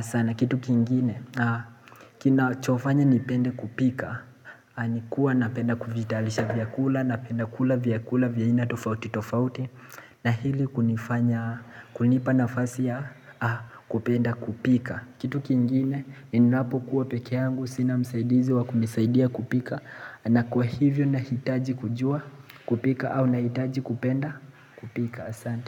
sana kitu kingine na kinachofanya nipende kupika ni kuwa napenda kuvitayarisha vyakula Napenda kula vyakula vya aina tofauti tofauti na hili kunifanya kunipa nafasi ya kupenda kupika Kitu kingine ninapokuwa peke yangu sina msaidizi wa kunisaidia kupika na kwa hivyo nahitaji kujua kupika au nahitaji kupenda kupika asante.